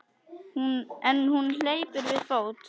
En hún hleypur við fót.